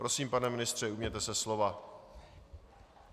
Prosím, pane ministře, ujměte se slova.